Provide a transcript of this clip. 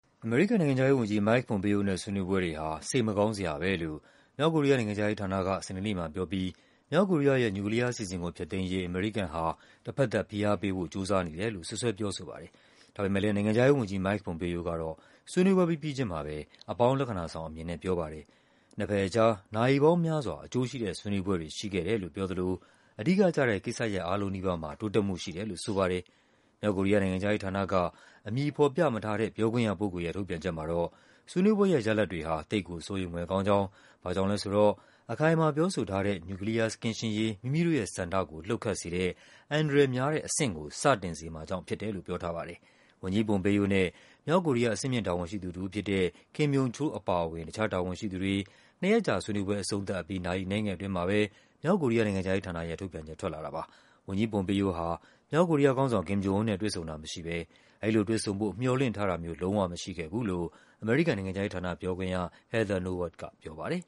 အမေရိကန်နိုင်ငံခြားရေးဝန်ကြီး Mike Pompeo နဲ့ ဆွေးနွေးပွဲတွေဟာ “စိတ်မကောင်း စရာပဲ” လို့ မြောက်ကိုရီးယားနိုင်ငံခြားရေး ဌာနက စနေနေ့မှာပြောပြီး မြောက်ကိုရီးယားရဲ့ နျူကလီးယားအစီအစဉ်ကို ဖျက်သိမ်းရေး အမေရိကန်ဟာ တဘက်သတ် ဖိအား ပေးဖို့ ကြိုးစားနေတယ်လို့ စွပ်စွဲ ပြောဆိုပါတယ်။ ဒါပေမဲ့ နိုင်ငံခြားရေးဝန်ကြီး Mike Pompeo ကတော့ ဆွေးနွေးပွဲပြီးပြီးချုင်းမှာပဲ အပေါင်း လက္ခဏာဆောင်အမြင်နဲ့ ပြောပါတယ်။ နှစ်ဘက်အကြား “နာရီပေါင်းများစွာ အကျိုးရှိတဲ့ ဆွေးနွေးပွဲတွေ” ရှိခဲ့တယ်လို့ပြောသလို “အဓိကကျတဲ့ ကိစ္စရပ်အားလုံးနီးပါးမှာ တိုးတက်မှု” ရှိတယ်လို့ ဆိုပါတယ်။ မြောက်ကိုရီးယား နိုင်ငံခြားရေးဌာနက အမည်ဖော်ပြမထားတဲ့ ပြောခွင့်ရပုဂ္ဂိုလ်ရဲ့ ထုတ်ပြန်ချက် မှာတော့ ဆွေးနွေးပွဲရဲ့ ရလဒ် တွေဟာ “သိပ်ကိုစိုးရိမ်ဖွယ်” ကောင်းကြောင်း၊ ဘာကြောင့်လဲဆို “အခိုင်အမာပြောဆိုထားတဲ့ နျူကလီးယားကင်းရှင်းရေး မိမိတို့ ရဲ့ဆန္ဒကို လှုပ်ခတ်စေတဲ့ အန္တရာယ်များတဲ့အဆင့်” ကို စတင်စေမှာကြောင့်ဖြစ်တယ်လို့ ပြောထားပါတယ်။ ဝန်ကြီး Pompeo နဲ့ မြောက်ကိုရီးယား အဆင့်မြင့်တာဝန်ရှိသူတဦးဖြစ်တဲ့ Kim Yong Chol အပါအဝင် တခြားတာဝန်ရှိသူတွေ နှစ်ရက်ကြာဆွေးနွေးပွဲ အဆုံးသတ်ပြီး နာရီအနည်းငယ်အတွင်းမှာပဲ မြောက်ကိုရီးယား နိုင်ငံခြားရေးဌာနရဲ့ ထုတ်ပြန်ချက် ထွက်လာတာပါ။ ဝန်ကြီး Pompeo ဟာ မြောက်ကိုရီးယားခေါင်းဆောင် Kim Jong Un နဲ့ တွေ့ဆုံတာမရှိဘဲ အဲဒီလိုတွေ့ဆုံဖို့ မျှော်လင့်ထားတာမျိုး လုံးဝမရှိခဲ့ဘူးလို့ အမေရိကန်နိုင်ငံခြားရေးဌာန ပြောခွင့်ရ Heather Nauert ကပြောပါတယ်